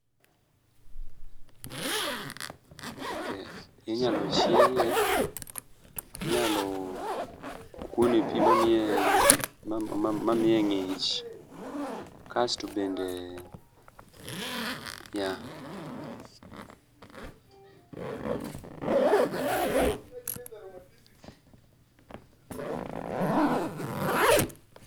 Ok, inyalo chiele, inyalo kuone pii mamiye ngich kasto bende yeah